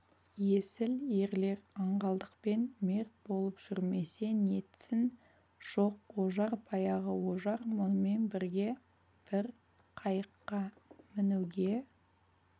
есіл ерлер аңғалдықпен мерт болып жүрмесе нетсін жоқ ожар баяғы ожар мұнымен бірге бір қайыққа мінуге